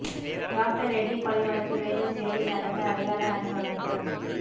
doctor Reddy கொலை வழக்கு வேலூர் சிறையில் நடந்த அடையாள அணி வகுப்பு